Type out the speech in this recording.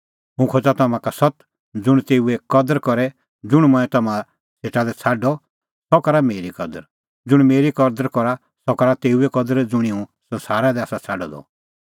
हुंह खोज़ा तम्हां का सत्त ज़ुंण तेऊए कदर करे ज़ुंण मंऐं तम्हां सेटा लै छ़ाडअ सह करा मेरी कदर ज़ुंण मेरी कदर करा सह करा तेऊए कदर ज़ुंणी हुंह संसारा लै आसा छ़ाडअ द